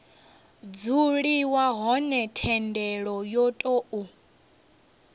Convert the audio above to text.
dzuliwa hone thendelo yo tou